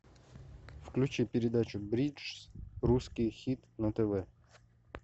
включи передачу бридж русский хит на тв